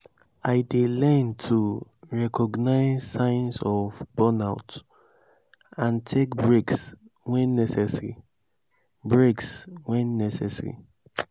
i dey learn to recognize signs of burnout and take breaks when necessary. breaks when necessary.